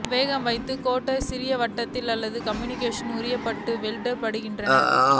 வேகவைத்த carrot சிறிய வட்டங்கள் அல்லது க்யூப்ஸில் உரிக்கப்பட்டு வெட்டப்படுகின்றன